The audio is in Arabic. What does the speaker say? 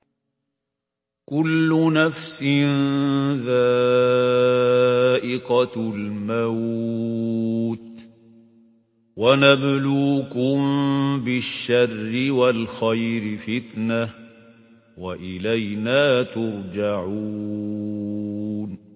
كُلُّ نَفْسٍ ذَائِقَةُ الْمَوْتِ ۗ وَنَبْلُوكُم بِالشَّرِّ وَالْخَيْرِ فِتْنَةً ۖ وَإِلَيْنَا تُرْجَعُونَ